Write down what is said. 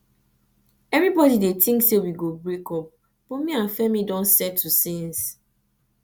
everybody dey think say we go break up but me and femi don settle since